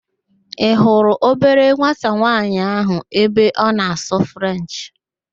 Ị hurụ obere nwata nwaanyị ahụ ebe ọ na-asụ Frenchị?